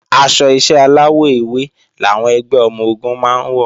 Aṣọ iṣẹ́ aláwọ̀ ewé làwọn ẹgbẹ́ ọmọ-ogun máa ń wọ̀